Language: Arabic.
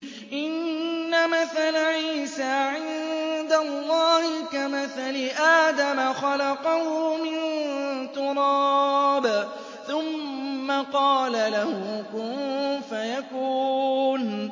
إِنَّ مَثَلَ عِيسَىٰ عِندَ اللَّهِ كَمَثَلِ آدَمَ ۖ خَلَقَهُ مِن تُرَابٍ ثُمَّ قَالَ لَهُ كُن فَيَكُونُ